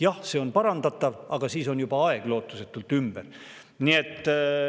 Jah, see on parandatav, aga siis on juba aeg lootusetult ümber.